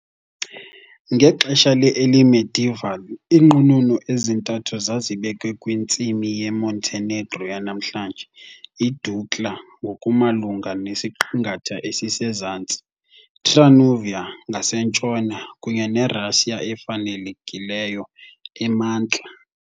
Ngexesha le- Early Medieval, iinqununu ezintathu zazibekwe kwintsimi yeMontenegro yanamhlanje- iDuklja, ngokumalunga nesiqingatha esisezantsi, Travunia, ngasentshona, kunye neRascia efanelekileyo, emantla.